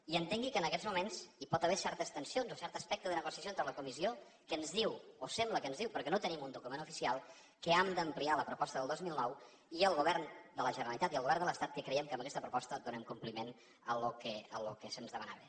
i entengui que en aquests moments hi pot haver certes tensions o cert aspecte de negociació entre la comissió que ens diu o sembla que ens ho diu perquè no tenim un document oficial que hem d’ampliar la proposta del dos mil nou i el govern de la generalitat i el govern de l’estat que creiem que amb aquesta proposta donem compliment al que se’ns demanava